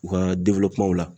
U ka la